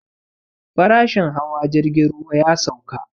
Farashin hawa jirgin ruwa ya sauka